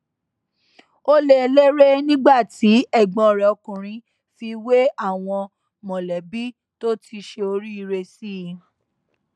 ó lé e léré nígbà tí ẹgbọn rẹ ọkùnrin fi wé àwọn mọlẹbí tó ti ṣe oríire sí i